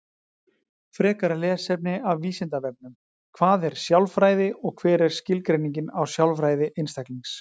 Frekara lesefni af Vísindavefnum: Hvað er sjálfræði og hver er skilgreiningin á sjálfræði einstaklings?